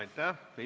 Aitäh!